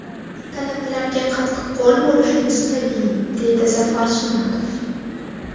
Talabalarga qattiqqo‘l bo‘lishimiz tabiiy, deydi Zafar Sunnatov.